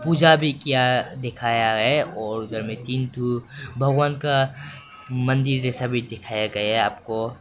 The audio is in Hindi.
पूजा भी किया दिखाया है और उधर में तीन थू भगवान का मंदिर जैसा भी दिखाया गया है आपको।